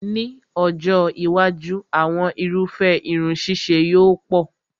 Ní ọjọ́ iwájú, àwọn irúfẹ́ irun ṣíṣe yóò pọ̀